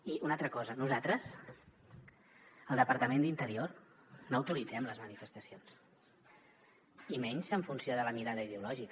i una altra cosa nosaltres el departament d’interior no autoritzem les manifestacions i menys en funció de la mirada ideològica